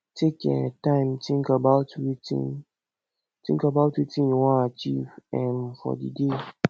take um time think about wetin think about wetin you wan achieve um for di day